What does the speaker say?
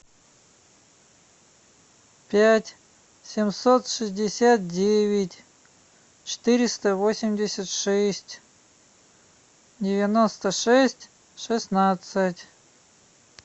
пять семьсот шестьдесят девять четыреста восемьдесят шесть девяносто шесть шестнадцать